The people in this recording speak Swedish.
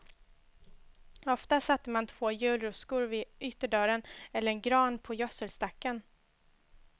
Ofta satte man två julruskor vid ytterdörren, eller en gran på gödselstacken.